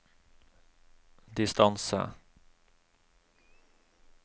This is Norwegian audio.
distance